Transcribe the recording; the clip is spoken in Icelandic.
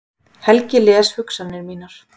Helgi les hugsanir mínar.